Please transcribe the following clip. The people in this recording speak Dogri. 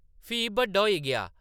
फ्ही बड्डा होई गेआ ।